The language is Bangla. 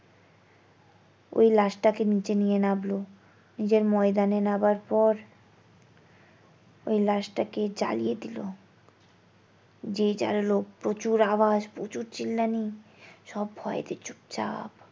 ওই লাশটাকে নিচে নিয়ে নামলো নিচের ময়দানে নাবার পর ওই লাশটাকে জ্বালিয়ে দিলো, যে যার লোক প্রচুর আওয়াজ প্রচুর চেল্লানি সব ভয়েতে চুপচাপ।